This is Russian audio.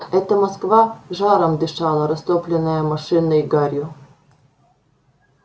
это москва жаром дышала растопленная машинной гарью